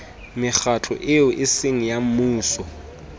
mekgatlo eo eseng ya mmuso